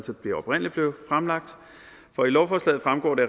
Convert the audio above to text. det oprindelig blev fremlagt for i lovforslaget fremgår det